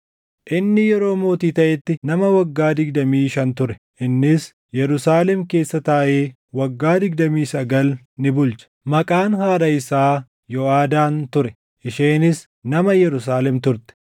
Inni yeroo mootii taʼetti nama waggaa digdamii shan ture; innis Yerusaalem keessa taaʼee waggaa digdamii sagal ni bulche. Maqaan haadha isaa Yoʼaadaan ture; isheenis nama Yerusaalem turte.